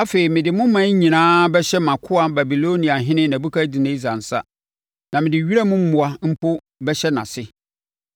Afei, mede mo aman nyinaa bɛhyɛ mʼakoa Babiloniahene Nebukadnessar nsa, na mede wiram mmoa mpo bɛhyɛ nʼase.